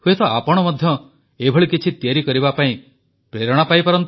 ହୁଏତ ଆପଣ ମଧ୍ୟ ଏଭଳି କିଛି ତିଆରି କରିବା ପାଇଁ ପ୍ରେରଣା ପାଇବେ